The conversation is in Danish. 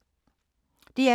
DR2